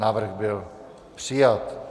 Návrh byl přijat.